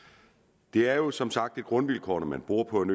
det er som sagt et grundvilkår når man bor på en